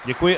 Děkuji.